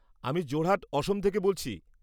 আমি যোরহাট, অসম থেকে বলছি।